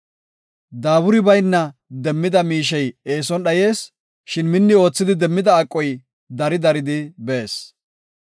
Daaburi bayna demmida miishey eeson dhayees; shin minni oothidi demmida aqoy, dari daridi bees.